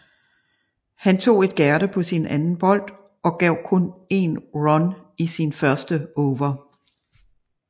Han tog et gærde på sin anden bold og gav kun 1 run i sin første over